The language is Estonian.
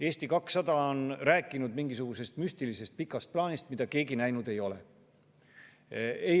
Eesti 200 on rääkinud mingisugusest müstilisest pikast plaanist, mida keegi näinud ei ole.